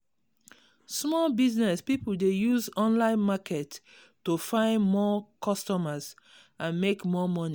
small business people dey use online market to find more customers and make more money.